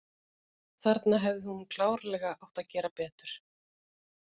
Þarna hefði hún klárlega átt að gera betur.